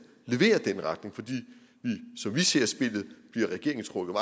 leverer den retning for som vi ser spillet bliver regeringen trukket